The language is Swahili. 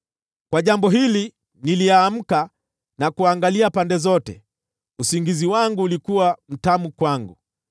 Kwa jambo hili niliamka na kuangalia pande zote. Usingizi wangu ulikuwa mtamu kwangu.